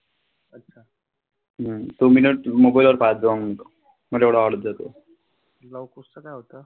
लव कुशचं काय होतं?